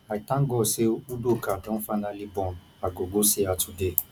i thank god say udoka don finally born i go go see her today